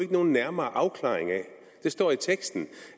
nogen nærmere afklaring af det står i teksten